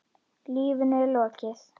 Lífinu er lokið.